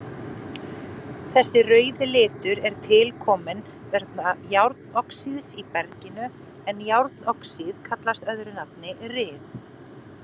Þessi rauði litur er tilkominn vegna járnoxíðs í berginu en járnoxíð kallast öðru nafni ryð.